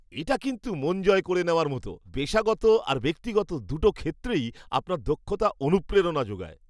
এটা কিন্তু মন জয় করে নেওয়ার মতো! পেশাগত আর ব্যক্তিগত দুটো ক্ষেত্রেই আপনার দক্ষতা অনুপ্রেরণা যোগায়।